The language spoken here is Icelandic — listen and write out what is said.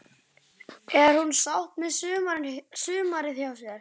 Er hún sátt með sumarið hjá sér?